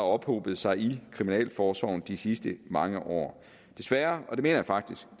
ophobet sig i kriminalforsorgen de sidste mange år desværre og det mener jeg faktisk